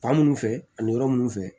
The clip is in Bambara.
Ba minnu fɛ ani yɔrɔ minnu fɛ